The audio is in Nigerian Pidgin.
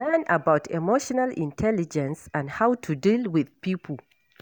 Learn about emotional intelligence and how to deal with pipo